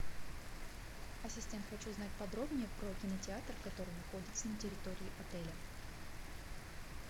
ассистент хочу знать подробнее про кинотеатр который находится на территории отеля